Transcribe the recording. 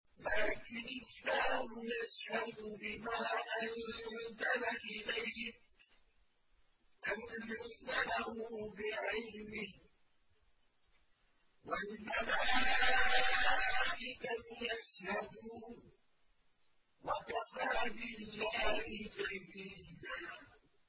لَّٰكِنِ اللَّهُ يَشْهَدُ بِمَا أَنزَلَ إِلَيْكَ ۖ أَنزَلَهُ بِعِلْمِهِ ۖ وَالْمَلَائِكَةُ يَشْهَدُونَ ۚ وَكَفَىٰ بِاللَّهِ شَهِيدًا